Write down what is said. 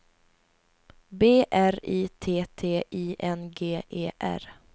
B R I T T I N G E R